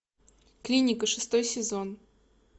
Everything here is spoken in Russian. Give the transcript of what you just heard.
клиника шестой сезон